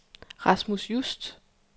Rasmus Just